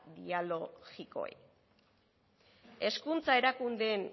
dialogikoei hezkuntza erakundeen